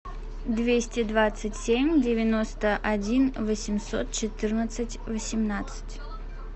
двести двадцать семь девяносто один восемьсот четырнадцать восемнадцать